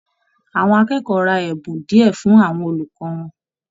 Àwọn akẹ́kọ̀ọ́ rà ẹbùn diẹ fún àwọn olùkọ wọn.